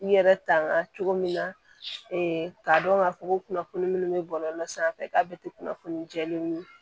I yɛrɛ tanga cogo min na k'a dɔn k'a fɔ ko kunnafoni minnu bɛ bɔlɔlɔ sanfɛ k'a bɛ ten kunnafoni jɛlen ye